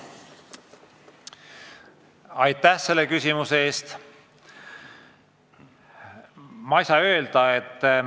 Aitäh selle küsimuse eest!